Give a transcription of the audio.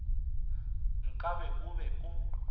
nka be o be o